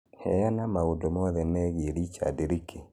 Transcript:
Heana maũndũ mothe megiĩ Richard Leakey